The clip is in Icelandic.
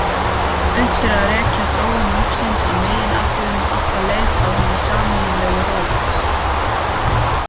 Unnt er að rekja þróun lífsins í meginatriðum alla leið frá hinni sameiginlegu rót.